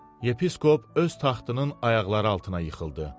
Yepiskop öz taxtının ayaqları altına yıxıldı.